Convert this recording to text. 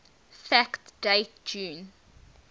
fact date june